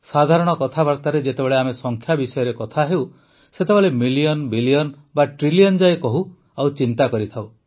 ସାଧାରଣ କଥାବାର୍ତ୍ତାରେ ଯେତେବେଳେ ଆମେ ସଂଖ୍ୟା ବିଷୟରେ କଥା ହେଉ ସେତେବେଳେ ମିଲିୟନ୍ ବିଲିୟନ ବା ଟ୍ରିଲିୟନ୍ ଯାଏ କହୁ ଓ ଚିନ୍ତା କରିଥାଉ